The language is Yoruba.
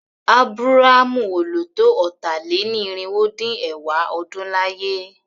Ábúrámú ò lò tó ọ̀tà-lé-ní-irinwó-dín-ẹ̀wá ọdún láyé.